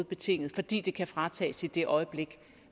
betinget fordi det kan fratages i det øjeblik